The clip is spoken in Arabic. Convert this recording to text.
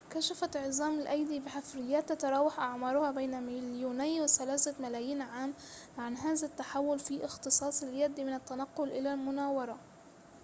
كشفت عظام الأيدي بحفريّات تتراوح أعمارها بين مليوني وثلاثة ملايين عام عن هذا التحوّل في اختصاص اليد من التنقّل إلى المناورة